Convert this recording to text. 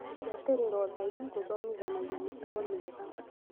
gũbuatĩrĩria ũtheru, gũthomithania mĩtugo mĩega